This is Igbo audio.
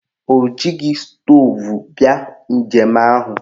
O jighị stoovu bịa njem ahụ.